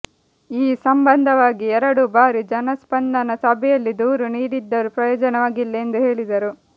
ಈ ಸಂಬಂಧವಾಗಿ ಎರಡು ಬಾರಿ ಜನಸ್ಪಂದನ ಸಭೆಯಲ್ಲಿ ದೂರು ನೀಡಿದ್ದರೂ ಪ್ರಯೋಜನವಾಗಿಲ್ಲ ಎಂದು ಹೇಳಿದರು